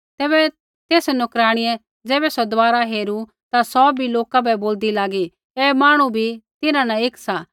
तेसै नोकराणियै ज़ैबै सौ दबारा हेरू ता सौ भी लोका बै बोलदी लागी ऐ मांहणु बी तिन्हां न एक सा